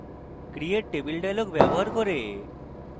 create table dialog ব্যবহার করে